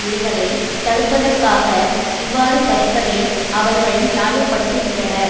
விடுவதை தடுப்பதற்காக இவ்வாறு பறிப்பதை அவர்கள் நியாயப்படுத்துகின்றனர்